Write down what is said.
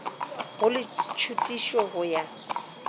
go le tšhutišo go ya